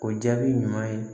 O jaabi ɲuman ye